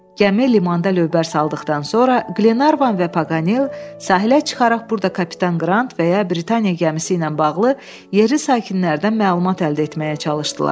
Gəmi limanda lövbər saldıqdan sonra, Qlervan və Paqanel sahilə çıxaraq burda kapitan Qrant və ya Britaniya gəmisi ilə bağlı yerli sakinlərdən məlumat əldə etməyə çalışdılar.